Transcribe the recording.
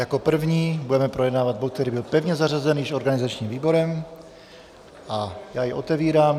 Jako první budeme projednávat bod, který byl pevně zařazen již organizačním výborem, a já jej otevírám.